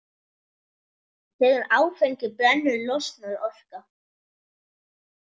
Þegar áfengi brennur losnar orka.